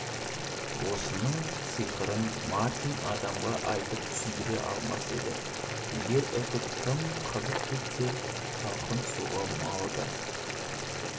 осының сыйқырын мартин адамға айтып түсіндіре алмас еді егер үтік тым қызып кетсе салқын суға малады